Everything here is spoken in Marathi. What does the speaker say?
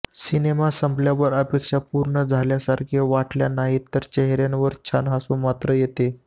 सिनेमा संपल्यावर अपेक्षा पूर्ण झाल्यासारख्या वाटल्या नाहीत तरी चेहऱयावर छान हसू मात्र येतं